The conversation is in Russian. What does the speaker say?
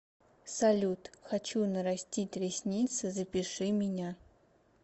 салют хочу нарастить ресницы запиши меня